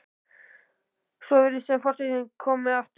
Svo virðist sem fortíðin komi aftur.